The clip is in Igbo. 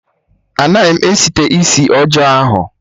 Anaghị m site isi ọjọọ ahụ